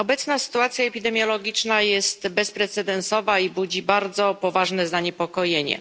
Obecna sytuacja epidemiologiczna jest bezprecedensowa i budzi bardzo poważne zaniepokojenie.